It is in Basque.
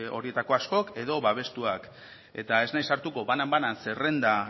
horietako askok edo babestuak eta ez naiz sartuko banan banan zerrenda